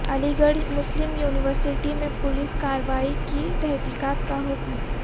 Aligarh Muslim university میں police کارروائی کی تحقیقات کا حکم